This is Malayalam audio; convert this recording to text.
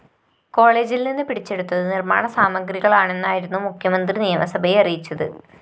കോളജില്‍ നിന്ന് പിടിച്ചെടുത്തത് നിര്‍മാണ സാമഗ്രികളാണെന്നായിരുന്നു മുഖ്യമന്ത്രി നിയമസഭയെ അറിയിച്ചത്